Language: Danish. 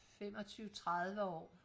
femogtyve tredive år